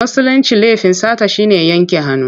A Musulince laifin sata shi ne yanke hannu.